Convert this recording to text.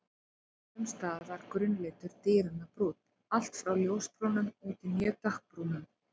Sums staðar var grunnlitur dýranna brúnn, allt frá ljósbrúnum út í mjög dökkbrúnan.